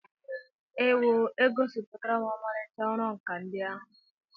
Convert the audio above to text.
Ewoo! E gosipụtara ọmarịcha ọrụ nkà ndị ahụ.